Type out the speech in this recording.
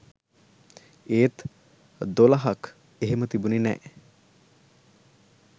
ඒත් "දොළහක්" එහෙම තිබුණෙ නෑ